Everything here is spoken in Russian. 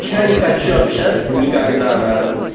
я не хочу общаться никогда на хуй